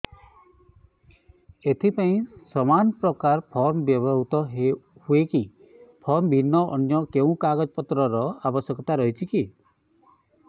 ଏଥିପାଇଁ ସମାନପ୍ରକାର ଫର୍ମ ବ୍ୟବହୃତ ହୂଏକି ଫର୍ମ ଭିନ୍ନ ଅନ୍ୟ କେଉଁ କାଗଜପତ୍ରର ଆବଶ୍ୟକତା ରହିଛିକି